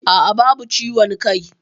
Aa, babu ciwon kai